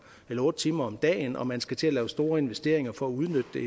eller otte timer om dagen og man skal til at lave store investeringer for at udnytte det